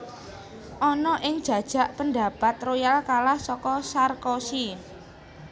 Ana ing jajak pendapat Royal kalah saka Sarkozy